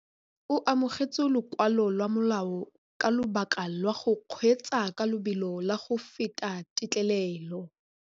O amogetse lokwalô lwa molao ka lobaka lwa go kgweetsa ka lobelo la go feta têtlêlêlô.